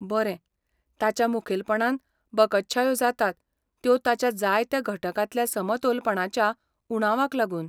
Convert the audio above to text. बरें, ताच्यो मुखेलपणान बकत्शायो जातात त्यो ताच्या जायत्या घटकांतल्या समतोलपणाच्या उणावाक लागून.